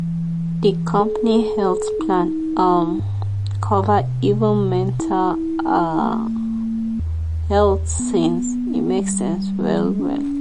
the company health plan um cover even mental um health things e make sense well well.